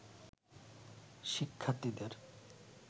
শিক্ষার্থীদের